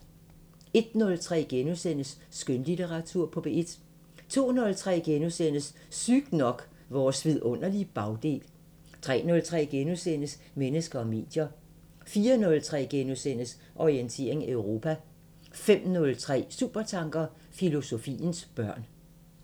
01:03: Skønlitteratur på P1 * 02:03: Sygt nok: Vores vidunderlige bagdel * 03:03: Mennesker og medier * 04:03: Orientering Europa * 05:03: Supertanker: Filosofiens børn